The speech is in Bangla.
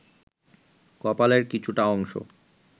কপালের কিছুটা অংশ